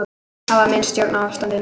Hafa misst stjórn á ástandinu